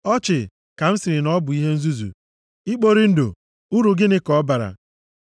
“Ọchị,” ka m sịrị na “ọ bụ ihe nzuzu. Ikpori ndụ, uru gịnị ka ọ bara?”